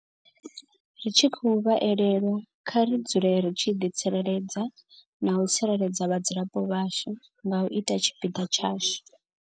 Ri tshi khou vha elelwa, kha ri dzule ri tshi ḓi tsireledza na u tsireledza vhadzulapo vhashu nga u ita tshipiḓa tshashu.